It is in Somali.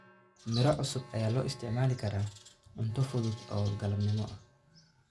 Miro cusub ayaa loo isticmaali karaa cunto fudud oo galabnimo ah.